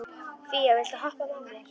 Fía, viltu hoppa með mér?